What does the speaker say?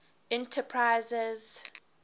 enterprises